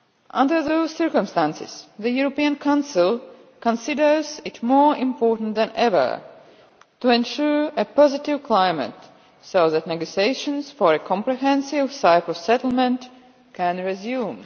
Under those circumstances, the European Council considers it more important than ever to ensure a positive climate so that negotiations for a comprehensive Cyprus settlement can resume.